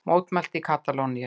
Mótmælt í Katalóníu